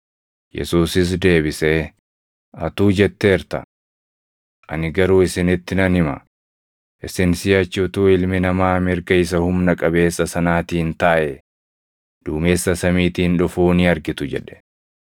Yesuusis deebisee, “Atuu jetteerta. Ani garuu isinitti nan hima; isin siʼachi utuu Ilmi Namaa mirga isa Humna qabeessa sanaatiin taaʼee, duumessa samiitiin dhufuu ni argitu” jedhe.